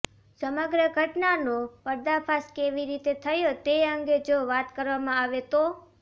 સમગ્ર ઘટનાનો પર્દાફાશ કેવી રીતે થયો તે અંગે જો વાત કરવામાં આવે તો